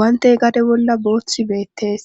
guante gade bolla boothi beettees.